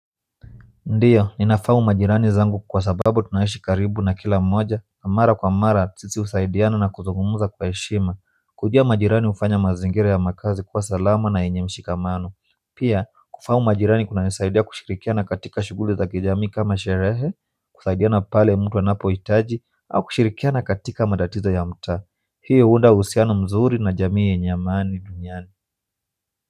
Ndio, ninafahamu majirani zangu kwa sababu tunaishi karibu na kila mmoja, na mara kwa mara sisi husaidiana na kuzungumza kwa heshima, kujua majirani hufanya mazingira ya makazi kuwa salama na yenye mshikamano, pia kufahamu majirani kunanisaidia kushirikiana katika shughuli za kijamii kama sherehe kusaidiana pale mtu anapohitaji, au kushirikiana katika matatizo ya mtaa hii huunda uhusiano mzuri na jamii yenye amani duniani.